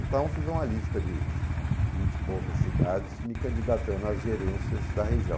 Então, fiz uma lista de vinte e poucas cidades, me candidatando às gerências da região.